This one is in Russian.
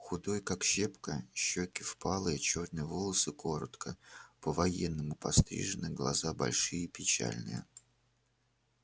худой как щепка щёки впалые чёрные волосы коротко по-военному пострижены глаза большие печальные